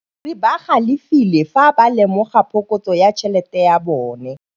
Badiri ba galefile fa ba lemoga phokotsô ya tšhelête ya bone.